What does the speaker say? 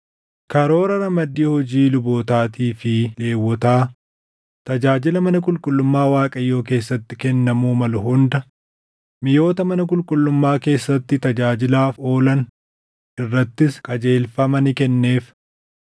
Karoora ramaddii hojii lubootaatii fi Lewwotaa, tajaajila mana qulqullummaa Waaqayyoo keessatti kennamuu maluu hunda, miʼoota mana qulqullummaa keessatti tajaajilaaf oolan irrattis qajeelfama ni kenneef.